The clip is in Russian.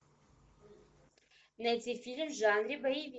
найти фильм в жанре боевик